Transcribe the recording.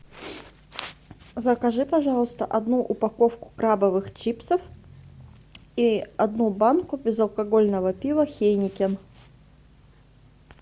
закажи пожалуйста одну упаковку крабовых чипсов и одну банку безалкогольного пива хейнекен